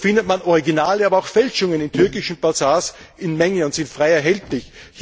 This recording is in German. So findet man Originale aber auch Fälschungen in türkischen Bazars in Mengen, und sie sind frei erhältlich.